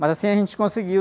Mas assim a gente conseguiu.